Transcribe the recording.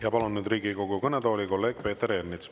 Ja palun nüüd Riigikogu kõnetooli kolleeg Peeter Ernitsa.